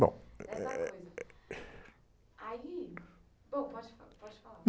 Bom, é, é...ssa coisa, aí, bom pode fa, pode falar.